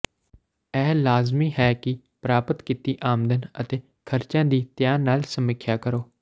ਇਹ ਲਾਜ਼ਮੀ ਹੈ ਕਿ ਪ੍ਰਾਪਤ ਕੀਤੀ ਆਮਦਨ ਅਤੇ ਖਰਚਿਆਂ ਦੀ ਧਿਆਨ ਨਾਲ ਸਮੀਖਿਆ ਕਰੋ